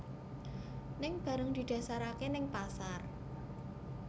Ning bareng didhasarake neng pasar